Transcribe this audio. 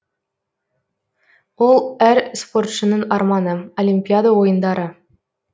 ол әр спортшының арманы олимпиада ойындары